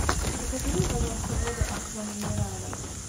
закажи мне пожалуйста воду аква минерале